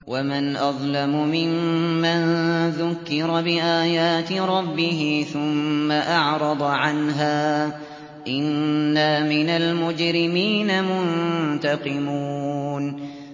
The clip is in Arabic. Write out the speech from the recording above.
وَمَنْ أَظْلَمُ مِمَّن ذُكِّرَ بِآيَاتِ رَبِّهِ ثُمَّ أَعْرَضَ عَنْهَا ۚ إِنَّا مِنَ الْمُجْرِمِينَ مُنتَقِمُونَ